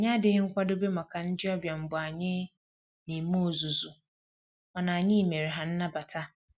Anyị adịghị nkwadobe maka ndị ọbịa mgbe anyị na eme ozuzu, mana anyị mere ha nnabata